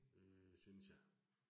Øh synes jeg